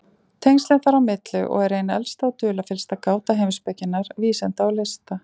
Tengslin þar á milli og er ein elsta og dularfyllsta gáta heimspekinnar, vísinda og lista.